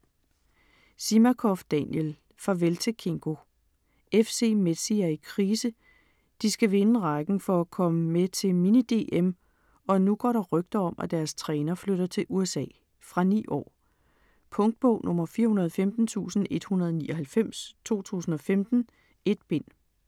Zimakoff, Daniel: Farvel til Kingo FC Mezzi er i krise. De skal vinde rækken for at komme med til Mini DM og nu går der rygter om at deres træner flytter til USA. Fra 9 år. Punktbog 415199 2015. 1 bind.